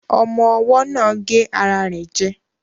Ọmọ́ ọwọ́ náà gé ara rẹ̀ jẹ